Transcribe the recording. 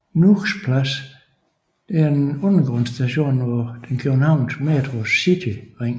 Nuuks Plads Station er en undergrundsstation på den københavnske Metros cityring